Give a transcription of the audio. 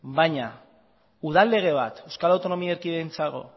baina udal lege bat euskal autonomia erkidegoarentzat